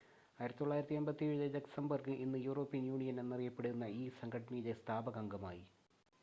1957-ൽ Luxembourg ഇന്ന് European Union എന്നറിയപ്പെടുന്ന ഈ സംഘടനയിലെ സ്ഥാപക അംഗമായി